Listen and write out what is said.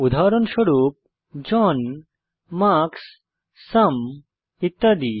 উদাহরণস্বরূপ John Marks সুম ইত্যাদি